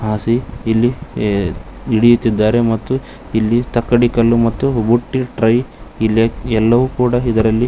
ಹಸಿ ಇಲ್ಲಿ ಹಿಡಿಯುತ್ತಿದ್ದಾರೆ ಮತ್ತು ಇಲ್ಲಿ ತಕ್ಕಡಿ ಕಲ್ಲು ಮತ್ತು ಬುಟ್ಟಿ ಟ್ರೈ ಇಲ್ಲಿ ಎಲ್ಲವೂ ಕೂಡ ಇದರಲ್ಲಿ.